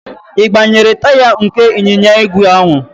Ị gbanyere taya nke ịnyịnya ígwè ahụ?